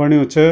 बण्यू च।